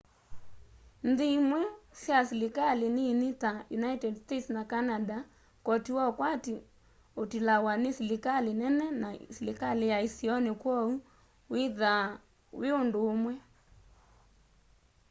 nthi imwe sya silikali nini ta united states na canada koti wa ukwati utilawa ni silikali nene na silikali ya isioni kwoou uthiaa wi undu umwe